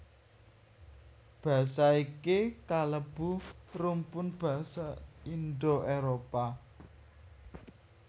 Basa iki kalebu rumpun basa Indo Éropah